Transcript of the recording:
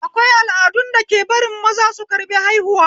Akwai al'adun dake barin maza su karɓi haihuwa